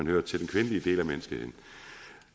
hører til den kvindelige del af menneskeheden